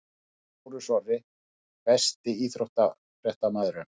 Lárus Orri Besti íþróttafréttamaðurinn?